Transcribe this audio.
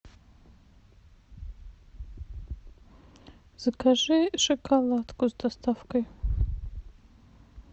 закажи шоколадку с доставкой